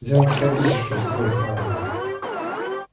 взял шарики и спустил их на воду